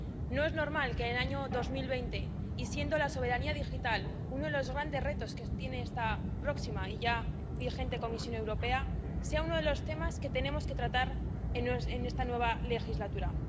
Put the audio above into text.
No es normal que, en el año 2020 y siendo la soberanía digital uno de los grandes retos que tiene esta próxima y ya vigente Comisión Europea, sea uno de los temas que tenemos que tratar en esta nueva legislatura.